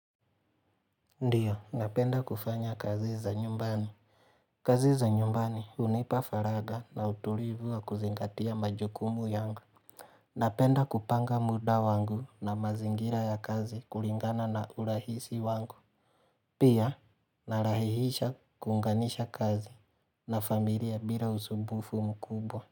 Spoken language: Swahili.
Ndiyo, napenda kufanya kazi za nyumbani. Kazi za nyumbani hunipa faragha na utulivu wa kuzingatia majukumu yangu. Napenda kupanga muda wangu na mazingira ya kazi kulingana na urahisi wangu. Pia, narahihisha kuunganisha kazi na familia bila usumbufu mkubwa.